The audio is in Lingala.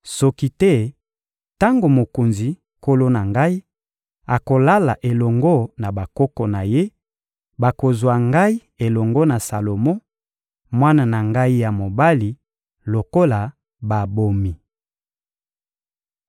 Mokonzi, nkolo na ngai, miso ya bato nyonso ya Isalaele ezali kotalela yo mpo na koyeba soki nani akovanda na kiti ya bokonzi sima na mokonzi, nkolo na ngai.